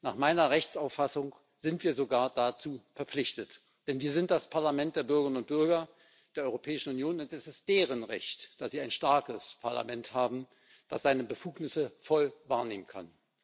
Nach meiner Rechtsauffassung sind wir sogar dazu verpflichtet, denn wir sind das Parlament der Bürgerinnen und Bürger der Europäischen Union. Und es ist deren Recht, dass sie ein starkes Parlament haben, das seine Befugnisse voll wahrnehmen kann.